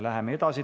Läheme edasi.